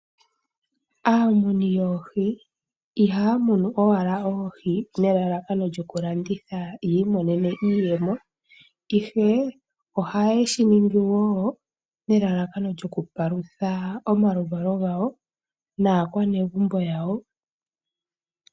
Aamuni yoohi ihaya muni oohi owala nelalakano lyokulanditha yavule oku imonenamo iiyemo ihe oha ye shiningi wo nelalakano lyokupalutha omaluvalo gawo naakwanezimo yawo.